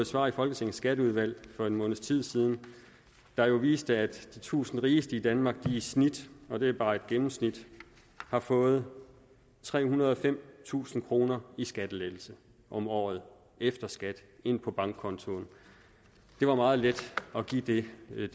svar i folketingets skatteudvalg for en måneds tid siden der jo viste at de tusind rigeste i danmark i snit og det er bare et gennemsnit har fået trehundrede og femtusind kroner i skattelettelse om året efter skat ind på bankkontoen det var meget let at give det det er